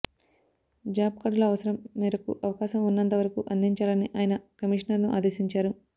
job కా ర్డుల అవసరం మేరకు అవకాశం ఉన్నంత వరకు అందించాలని ఆయ న కమిషనర్ను ఆదేశించారు